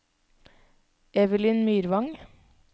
Evelyn Myrvang